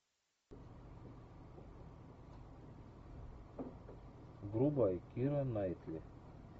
врубай кира найтли